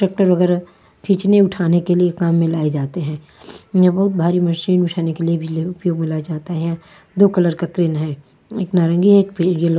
Tractor वग़ैरा खींचने उठाने के लिए काम में लाए जाते है यह बहुत भारी मशीन बिछाने के लिए भी अ अ बुलाया जाता है दो कलर का क्रेन है एक नारंगी है और एक येलो ।